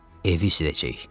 Evi isidəcəyik.